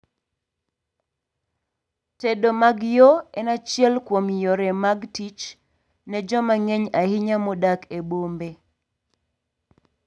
tedo mag yoo en achiel kuom yore mag tich ne joma ng'eny ahinya modak e bombe